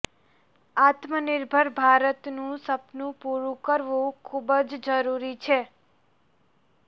આત્મનિર્ભર ભારતનું સપનું પૂરું કરવું ખૂબ જ જરૂરી છે